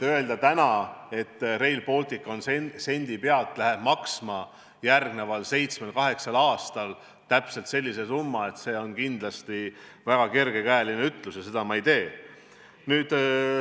Öelda täna, et Rail Baltic läheb järgmisel seitsmel-kaheksal aastal sendi pealt maksma täpselt sellise summa, on kindlasti väga kergekäeline ja seda ma ei tee.